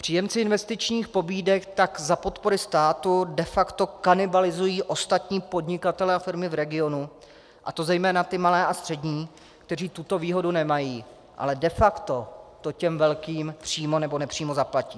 Příjemci investičních pobídek tak za podpory státu de facto kanibalizují ostatní podnikatele a firmy v regionu, a to zejména ty malé a střední, kteří tuto výhodu nemají, ale de facto to těm velkým přímo nebo nepřímo zaplatí.